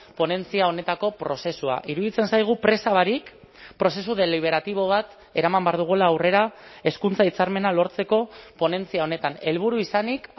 ponentzia honetako prozesua iruditzen zaigu presa barik prozesu deliberatibo bat eraman behar dugula aurrera hezkuntza hitzarmena lortzeko ponentzia honetan helburu izanik